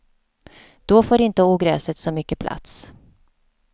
Då får inte ogräset så mycket plats.